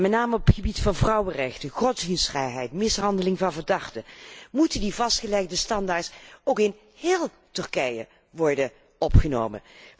Met name op het gebied van vrouwenrechten, godsdienstvrijheid, mishandeling van verdachten moeten die vastgelegde standaarden ook in heel Turkije worden aangehouden.